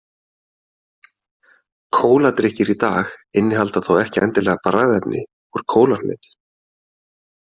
Kóladrykkir í dag innihalda þó ekki endilega bragðefni úr kólahnetu.